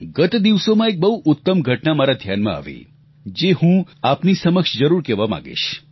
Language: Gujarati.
ગત દિવસોમાં એક બહુ ઉત્તમ ઘટના મારા ધ્યાનમાં આવી જે હું આપની સમક્ષ જરૂર કહેવા માંગીશ